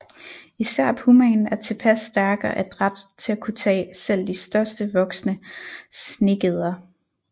Især pumaen er tilpas stærk og adræt til at kunne tage selv de største voksne snegeder